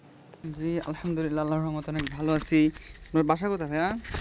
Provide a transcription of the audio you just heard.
জি আহমদুল্লাহ আল্লাহর রহমতে অনেক ভালো আছি. আপনার বাসা কোথা ভাইয়া?